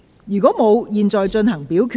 如果沒有，現在進行表決。